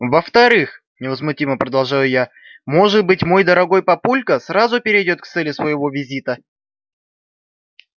во вторых невозмутимо продолжаю я может быть мой дорогой папулька сразу перейдёт к цели своего визита